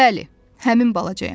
Bəli, həmin balacayam.